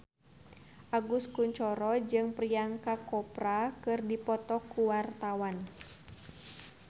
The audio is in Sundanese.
Agus Kuncoro jeung Priyanka Chopra keur dipoto ku wartawan